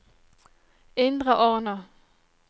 Indre Arna